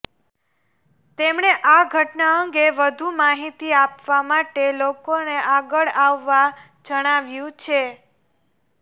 તેમણે આ ઘટના અંગે વધુ માહિતી આપવા માટે લોકોને આગળ આવવા જણાવ્યું છે